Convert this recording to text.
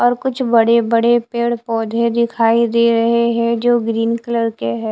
और कुछ बड़े बड़े पेड़ पौधे दिखाई दे रहे हैं जो ग्रीन कलर के हैं।